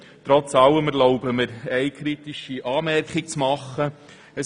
Trotz allem erlaube ich mir eine kritische Anmerkung: